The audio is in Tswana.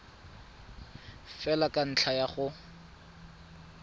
fela ka ntlha ya go